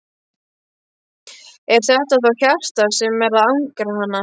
Er þetta þá hjartað sem er að angra hana?